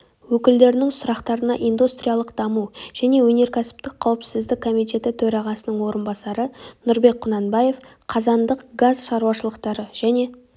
өкілдерінің сұрақтарына индустриялық даму және өнеркәсіптік қауіпсіздік комитеті төрағасының орынбасары нұрбек құнанбаев қазандық газ шаруашылықтары және